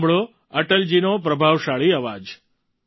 સાંભળો અટલજીનો પ્રભાવશાળી અવાજ